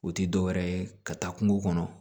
O tɛ dɔwɛrɛ ye ka taa kungo kɔnɔ